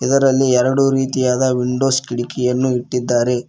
ಇದರಲ್ಲಿ ಎರಡು ರೀತಿಯ ವಿಂಡೋಸ್ ಕಿಡಕಿಗಳನ್ನು ಇಟ್ಟಿದ್ದಾರೆ.